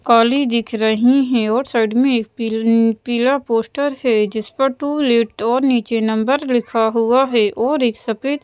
काली दिख रही है और साइड में एक पील पीला पोस्टर है। जिस पर टू लेट और नीचे नंबर लिखा हुआ है और एक सफेद --